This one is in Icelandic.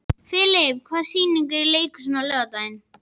Filip, hvaða sýningar eru í leikhúsinu á laugardaginn?